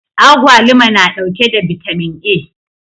Agwaluma na ɗauke da vitamin a